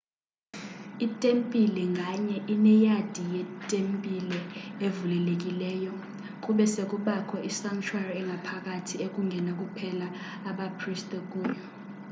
itempile nganye ineyadi yetembile evulelekileyo kube se kubakho isanctuary engaphakathi ekungena kuphela abapriste kuyo